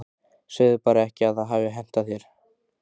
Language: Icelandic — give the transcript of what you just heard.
Segðu bara ekki að það hafi hentað þér.